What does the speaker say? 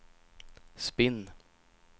spinn